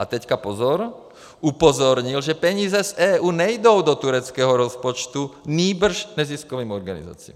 A teď pozor - upozornil, že peníze z EU nejdou do tureckého rozpočtu, nýbrž neziskovým organizacím.